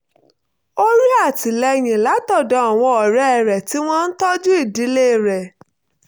ó rí àtìlẹ́yìn látọ̀dọ̀ àwọn ọ̀rẹ́ rẹ̀ tí wọ́n ń tọ́jú ìdílé rẹ̀